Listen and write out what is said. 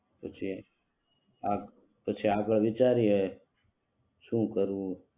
પછી પછી આગળ વિચારીએ શું કરવું ઈ